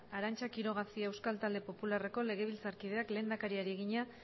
arantza quiroga cia euskal talde popularreko legebiltzarkideak lehendakariari egina